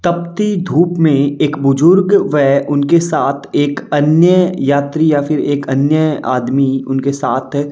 तपती धूप में एक बुजुर्ग वे उनके साथ एक अन्य यात्री या फिर एक अन्य आदमी उनके साथ --